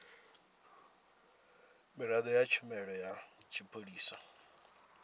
miraḓo ya tshumelo ya tshipholisa